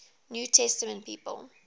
new testament people